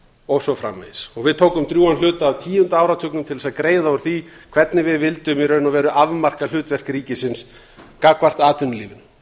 og svo framvegis og við tókum drjúgan hluta af tíunda áratugnum til þess að greiða úr því hvernig við vildum í raun og veru afmarka hlutverk ríkisins gagnvart atvinnulífinu